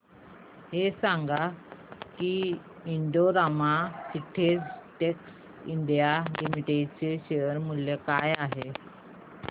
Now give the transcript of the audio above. हे सांगा की Indo Rama synthetics India limited चे शेअर मूल्य काय आहे